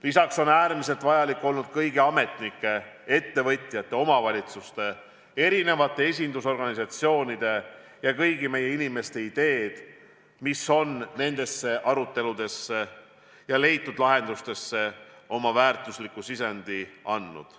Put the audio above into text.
Lisaks on äärmiselt vajalikud olnud kõigi ametnike, ettevõtjate, omavalitsuste ja esindusorganisatsioonide ning kõigi meie inimeste ideed, mis on neisse aruteludesse ja leitud lahendustesse väärtuslikuks sisendiks olnud.